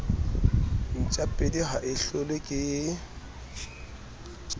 ntjapedi ha e hlolwe ke